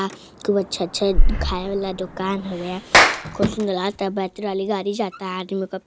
खूब अच्छा अच्छा खाये वाला दुकान होउय। कुछ सुंदर लागता। बैटरी वाली के गाड़ी जाता। आदमी ओ --